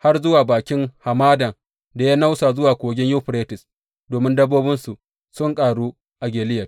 har zuwa bakin hamadan da ya nausa zuwa Kogin Yuferites, domin dabbobinsu sun ƙaru a Gileyad.